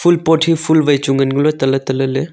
fool pot hi fool wai chu ngan ngole tale talele.